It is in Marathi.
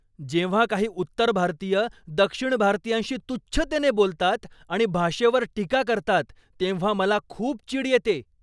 जेव्हा काही उत्तर भारतीय दक्षिण भारतीयांशी तुच्छतेने बोलतात आणि भाषेवर टीका करतात तेव्हा मला खूप चीड येते.